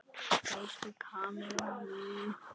Elsku Kamilla mín!